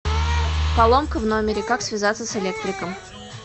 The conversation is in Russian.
поломка в номере как связаться с электриком